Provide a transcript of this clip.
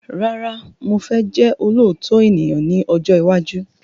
Rárá mo fẹ́ jẹ́ olótitọ ènìyàn ní ọjọ́ iwájú